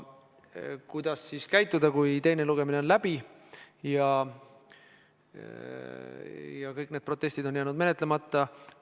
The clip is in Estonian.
Kuidas käituda siis, kui teine lugemine on läbi ja kõik need protestid on jäänud menetlemata?